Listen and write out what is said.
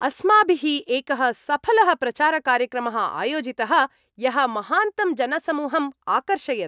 अस्माभिः एकः सफलः प्रचारकार्यक्रमः आयोजितः । यः महान्तं जनसमूहं आकर्षयत्।